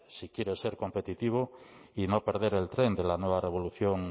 si quieren ser competitivo y no perder el tren de la nueva revolución